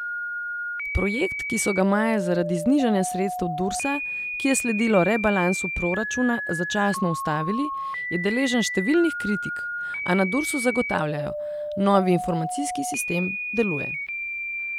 Projekt, ki so ga maja zaradi znižanja sredstev Dursa, ki je sledilo rebalansu proračuna, začasno ustavili, je deležen številnih kritik, a na Dursu zagotavljajo: 'Novi informacijski sistem deluje'.